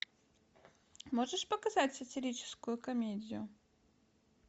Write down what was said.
можешь показать сатирическую комедию